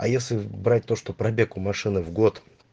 а если брать то что пробег у машины в год